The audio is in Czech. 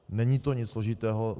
Není to nic složitého.